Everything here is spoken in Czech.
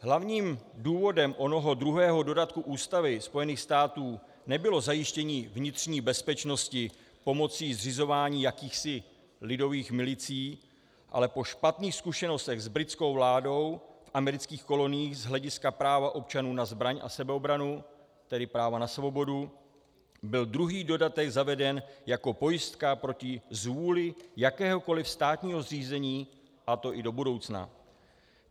Hlavním důvodem onoho druhého dodatku Ústavy Spojených států nebylo zajištění vnitřní bezpečnosti pomocí zřizování jakýchsi lidových milicí, ale po špatných zkušenostech s britskou vládou v amerických koloniích z hlediska práva občanů na zbraň a sebeobranu, tedy práva na svobodu, byl druhý dodatek zaveden jako pojistka proti zvůli jakéhokoli státního zřízení, a to i do budoucna.